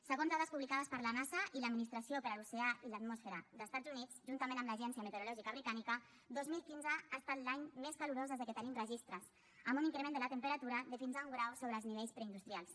segons dades publicades per la nasa i l’administració per a l’oceà i la atmosfera d’estats units juntament amb l’agència meteorològica britànica dos mil quince ha estat l’any més calorós des que tenim registres amb un increment de la temperatura de fins a un grau sobre els nivells preindustrials